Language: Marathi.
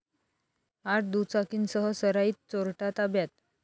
आठ दुचाकींसह सराईत चोरटा ताब्यात